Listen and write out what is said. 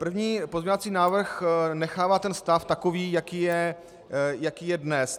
První pozměňovací návrh nechává tento stav takový, jaký je dnes.